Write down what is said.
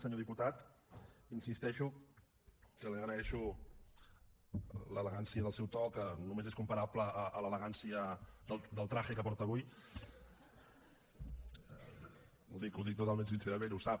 senyor diputat insisteixo que li agreixo l’elegància del seu to que només és comparable a l’elegància del trajetotalment sincerament ho sap